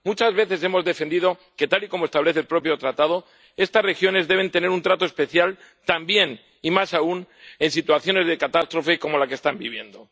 Muchas veces hemos defendido que, tal y como establece el propio Tratado, estas regiones deben tener un trato especial, también y más aún en situaciones de catástrofe como la que están viviendo.